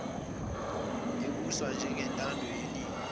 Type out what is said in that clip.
ebuswa ngentando yeningi